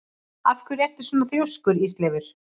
Af hverju ertu svona þrjóskur, Ísleifur?